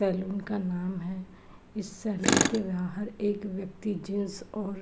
salon का नाम है इस सैलून के बाहर एक व्यक्ति जीन्स और --